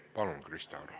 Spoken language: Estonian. Palun, Krista Aru!